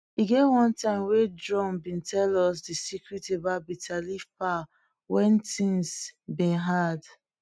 e get one time wey drum been tell us de secret about bitterleaf power wen things been hard